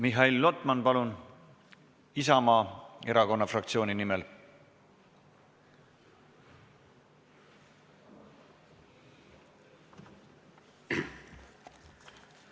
Mihhail Lotman, palun, Isamaa fraktsiooni nimel!